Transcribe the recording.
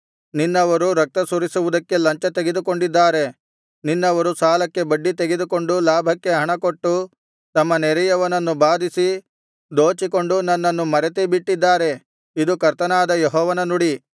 ನಿನ್ನವರು ರಕ್ತ ಸುರಿಸುವುದಕ್ಕೆ ಲಂಚ ತೆಗೆದುಕೊಂಡಿದ್ದಾರೆ ನಿನ್ನವರು ಸಾಲಕ್ಕೆ ಬಡ್ಡಿ ತೆಗೆದುಕೊಂಡು ಲಾಭಕ್ಕೆ ಹಣಕೊಟ್ಟು ತಮ್ಮ ನೆರೆಯವರನ್ನು ಬಾಧಿಸಿ ದೋಚಿಕೊಂಡು ನನ್ನನ್ನು ಮರೆತೇ ಬಿಟ್ಟಿದ್ದಾರೆ ಇದು ಕರ್ತನಾದ ಯೆಹೋವನ ನುಡಿ